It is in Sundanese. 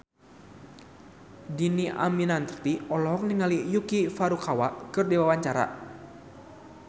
Dhini Aminarti olohok ningali Yuki Furukawa keur diwawancara